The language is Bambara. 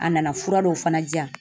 A nana fura dɔw fana di yan